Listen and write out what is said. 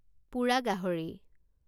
পোৰা গাহৰি